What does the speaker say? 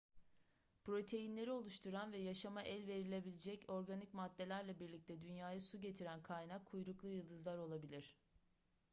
proteinleri oluşturan ve yaşama el verebilecek organik maddelerle birlikte dünyaya su getiren kaynak kuyruklu yıldızlar olabilir